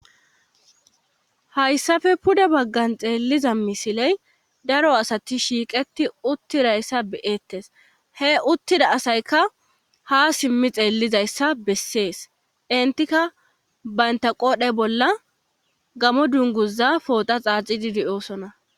hayssafe pude baggan xeelliza misiley daro asati shiiqeti uttidayssa beyettes he uttida asayka ha simmi xeellizayssa bessees intika bayntaqoodhe bolla gamo dunguza poota xaaxididi oosona